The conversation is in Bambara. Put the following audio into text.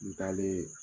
N taalen